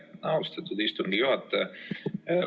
Aitäh, austatud istungi juhataja!